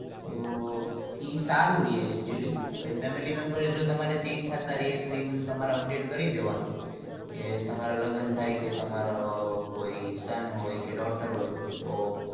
તો એ સારું રે actually તમારી family membar જો change થતા તો એ તમારે update કરી દેવાનું કે તમારા લગન થાય કે તમારે કોઈ સન હોય કે daughter હોય